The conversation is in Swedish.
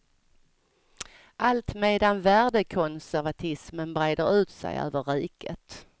Allt medan värdekonservatismen breder ut sig över riket.